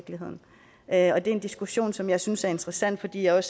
er en diskussion som jeg synes er interessant fordi jeg